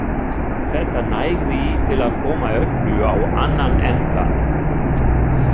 Þetta nægði til að koma öllu á annan endann.